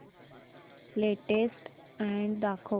latest ad दाखव